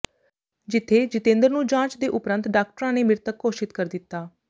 ਜਿੱਥੇ ਜਿਤੇਂਦਰ ਨੂੰ ਜਾਂਚ ਦੇ ਉਪਰੰਤ ਡਾਕਟਰਾਂ ਨੇ ਮ੍ਰਿਤਕ ਘੋਸ਼ਿਤ ਕਰ ਦਿੱਤਾ